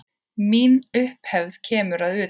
Mín upphefð kemur að utan.